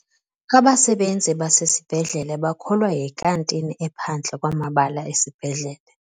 Abasebenzi basesibhedlele bakholwa yinkantini ephandle kwamabala esibhedlele.